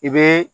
I bɛ